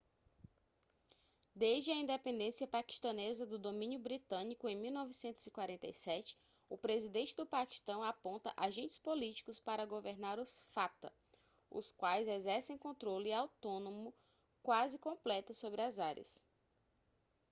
desde a independência paquistanesa do domínio britânico em 1947 o presidente do paquistão aponta agentes políticos para governar os fata os quais exercem controle autônomo quase completo sobre as áreas